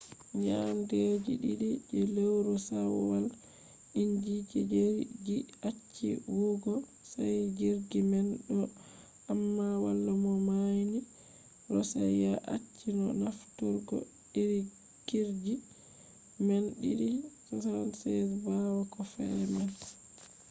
nyande je ɗiɗi je lewru shawwal inji je jirgi acci huwugo sai jirgi man do’i amma wala mo nauni. roshiya acci no nafturgo iri jirgi man ii-76s ɓawo ko fe’i man